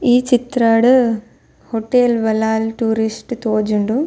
ಈ ಚಿತ್ರಡ್ hotel Ballal tourist ತೋಜುಂಡು.